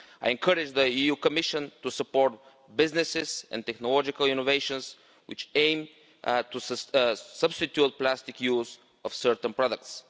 I encourage the Commission to support businesses and technological innovations which aim to substitute the plastic used in certain products.